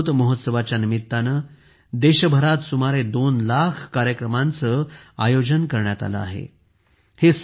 अमृतमहोत्सवाच्या निमित्ताने देशभरात सुमारे दोन लाख कार्यक्रमांचे आयोजन करण्यात आले आहे